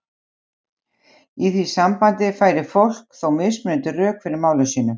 Í því sambandi færir fólk þó mismunandi rök fyrir máli sínu.